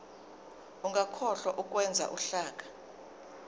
ungakhohlwa ukwenza uhlaka